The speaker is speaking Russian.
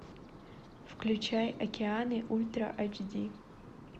включай океаны ультра эйч ди